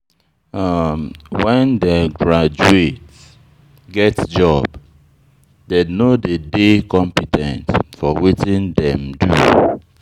When dem graduate get job, dem no dey dey compe ten t for wetin dem do.